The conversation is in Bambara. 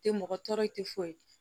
Tɛ mɔgɔ tɔɔrɔ i tɛ foyi ye